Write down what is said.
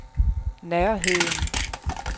nærheden